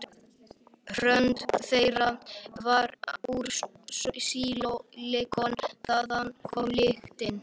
Hörund þeirra var úr sílikoni- þaðan kom lyktin.